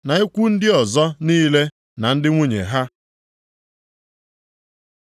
na ikwu ndị ọzọ niile na ndị nwunye ha.